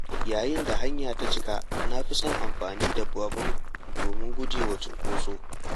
Yayin da hanya ta cika na fi son amfani da babur domin gujewa cunkoso.